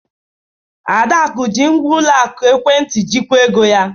Adaku ji ngwa ụlọ akụ ekwentị jikwaa ego ya.